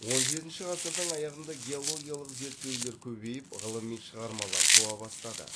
он жетінші ғасырдың аяғында геологиялық зерттеулер көбейіп ғылыми шығармалар туа бастады